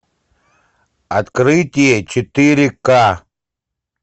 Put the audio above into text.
открытие четыре ка